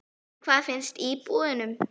En hvað finnst íbúunum?